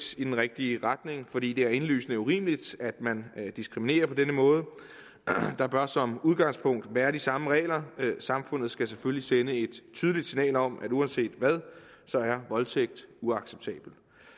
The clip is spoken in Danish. i den rigtige retning fordi det er indlysende urimeligt at man diskriminerer på den måde der bør som udgangspunkt være de samme regler samfundet skal selvfølgelig sende et tydeligt signal om at uanset hvad er voldtægt uacceptabelt